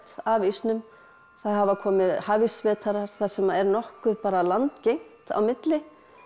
af ísnum það hafa komið þar sem er nokkuð landgengt á milli